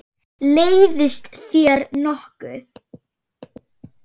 Leiðist þér nokkuð?